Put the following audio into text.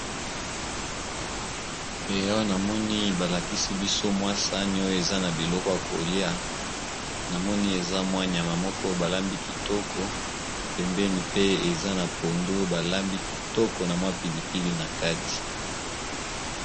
E awa namoni balakisi biso mwa sani oyo eza na biloko ya kolia namoni eza mwa nyama moko balambi kitoko pembeni pe eza na pondu balambi kitoko na mwa pilipili na kati.